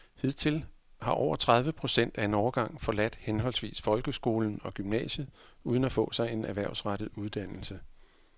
Hidtil har over tredive procent af en årgang forladt henholdsvis folkeskolen og gymnasiet uden at få sig en erhvervsrettet uddannelse.